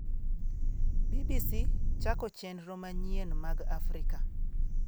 BBC chako chenro manyien mag Afrika